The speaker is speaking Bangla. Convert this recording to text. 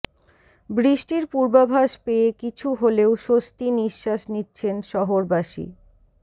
বৃষ্টির পূর্বাভাস পেয়ে কিছু হলেও স্বস্তি নিশ্বাস নিচ্ছেন শহরবাসী